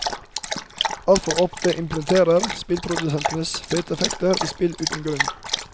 Altfor ofte implementerer spillprodusentene fete effekter i spill uten grunn.